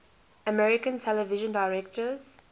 american television directors